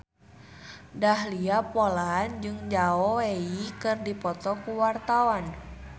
Dahlia Poland jeung Zhao Wei keur dipoto ku wartawan